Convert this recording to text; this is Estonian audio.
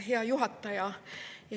Hea juhataja!